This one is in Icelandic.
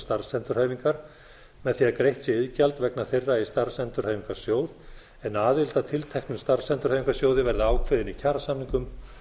starfsendurhæfingar með því að greitt sé iðgjald vegna þeirra í starfsendurhæfingarsjóð en aðild að tilteknum starfsendurhæfingarsjóði verði ákveðin í kjarasamningum